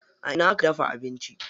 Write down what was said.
A ina aka dafa abinci?